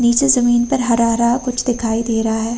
नीचे ज़मीन पर हरा-हरा कुछ दिखाई दे रहा है।